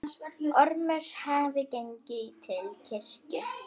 Ormur hafði gengið til kirkju.